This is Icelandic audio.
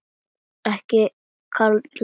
Ekki kalla ég það.